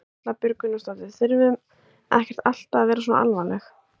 Erla Björg Gunnarsdóttir: Þurfum ekkert alltaf að vera svona alvarleg?